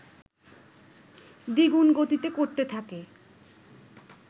দ্বিগুণ গতিতে করতে থাকে